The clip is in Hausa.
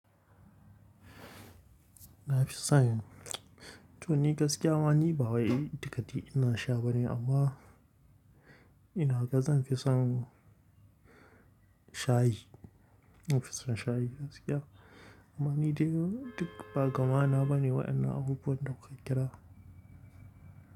Na fi son, toh ni gaskiya ma ni ba wai tikati ina sha ba ne amma ina ga zan fi son shayi. Nafi son shayi gaskiya. Amma ni dai duk ba gama na bane waɗannan abubuwan da kuka kira.